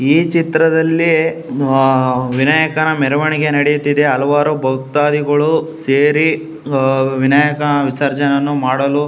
ಈ ಚಿತ್ರದಲ್ಲಿ ಹಾ ವಿನಾಯಕನ ಮೆರವಣಿಗೆ ನಡೆಯುತ್ತಿದೆ ಹಲವಾರು ಭಕ್ತಾದಿಗಳು ಸೇರಿ ಹ್ಮ್ ವಿನಾಯಕನ ವಿಸರ್ಜನೆ ಮಾಡಲು.